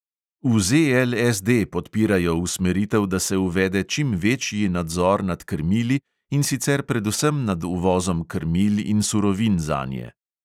V ZLSD podpirajo usmeritev, da se uvede čim večji nadzor nad krmili, in sicer predvsem nad uvozom krmil in surovin zanje.